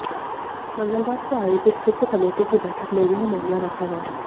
मंगलवार को आयोजित वित्त कमेटी की बैठक में यह मामला रखा गया